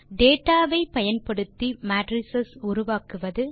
data ஐ பயன்படுத்தி matrix உருவாக்குவது